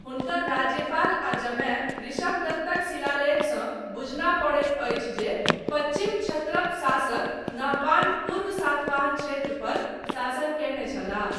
हुनकर राज्यपाल आ जमाय, ऋषभदत्तक शिलालेखसँ बुझना पड़ैत अछि जे पच्छिम क्षत्रप शासक नहपान पूर्व सातवाहन क्षेत्र पर शासन कयने छलाह।